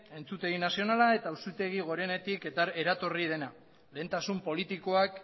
entzutegi nazionala eta auzitegi gorenetik eratorri dena lehentasun politikoak